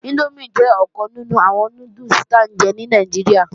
Índómì jẹ́ ọ̀kan nínú àwọn núdùsì tí à ń jẹ ní Nàìjíríà